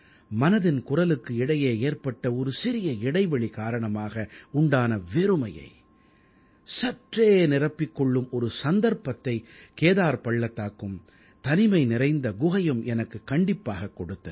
மனதின் குரலுக்கு இடையே ஏற்பட்ட ஒரு சிறிய இடைவெளி காரணமாக உண்டான வெறுமையை சற்றே நிரப்பிக் கொள்ளும் ஒரு சந்தர்ப்பத்தை கேதார் பள்ளத்தாக்கும் தனிமை நிறைந்த குகையும் எனக்குக் கண்டிப்பாகக் கொடுத்தன